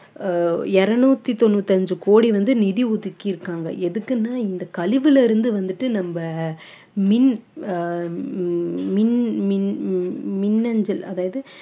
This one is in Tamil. ஆஹ் இருநூத்தி தொண்ணூத்தி அஞ்சு கோடி வந்து நிதி ஒதுக்கி இருக்காங்க எதுக்குன்னா இந்த கழிவுல இருந்து வந்துட்டு நம்ம மின் ஆஹ் மின்~ மின்~ மின்னஞ்சல் அதாவது